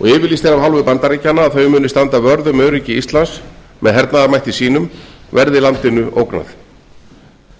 og yfirlýst er af hálfu bandaríkjanna að þau muni standa vörð um öryggi íslands með hernaðarmætti sínum verði landinu ógnað